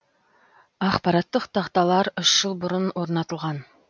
ақпараттық тақталар үш жыл бұрын орнатылған